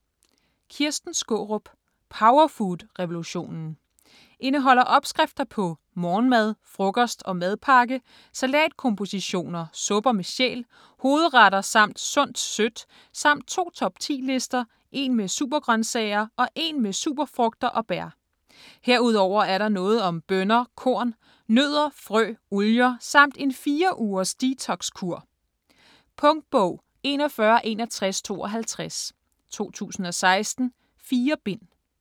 Skaarup, Kirsten: Powerfood revolutionen Indeholder opskrifter på: morgenmad, frokost og madpakke, salatkompositioner, supper med sjæl, hovedretter samt sundt sødt samt to top 10 lister - en med supergrøntsager og en med superfrugter og bær. Herudover er der noget om bønner, korn, nødder, frø, olier, samt en 4- ugers detox-kur. Punktbog 416152 2016. 4 bind.